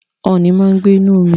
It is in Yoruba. Ooni máa ń gbé inú omi